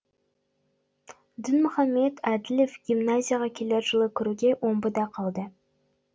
дінмұхамед әділев гимназияға келер жылы кіруге омбыда қалды